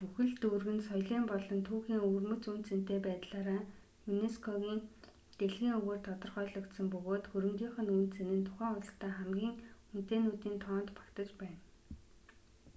бүхэл дүүрэг нь соёлын болон түүхийн өвөрмөц үнэ цэнэтэй байдлаараа юнеско-гийн дэлхийн өвөөр тодорхойлогдсон бөгөөд хөрөнгийнх нь үнэ цэнэ нь тухайн улсдаа хамгийн үнэтэйнүүдийн тоонд багтаж байна